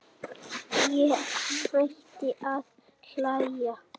Ég hætti að hlæja.